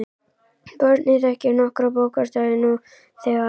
Barnið þekkir nokkra bókstafi nú þegar.